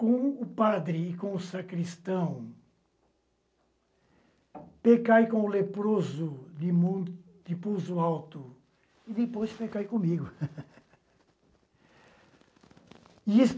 com o padre e com o sacristão, pecai com o leproso de pulso alto e depois pecai comigo.